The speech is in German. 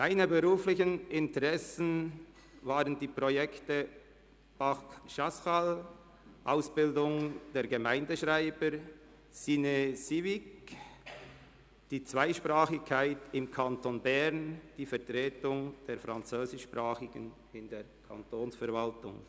Ihre beruflichen Interessen galten den Projekten «Parc Chasseral», «Ausbildung der Gemeindeschreiber», «CineCivic» sowie der Zweisprachigkeit im Kanton Bern und der Vertretung der Französischsprachigen in der Kantonsverwaltung.